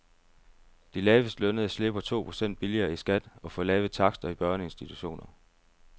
De lavest lønnede slipper to procent billigere i skat og får lave takster i børneinstitutioner.